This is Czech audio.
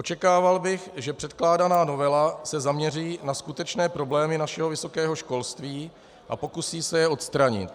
Očekával bych, že předkládaná novela se zaměří na skutečné problémy našeho vysokého školství a pokusí se je odstranit.